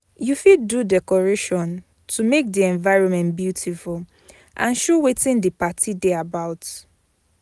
You fit do decoration to make the environment beautiful and show wetin the parti de about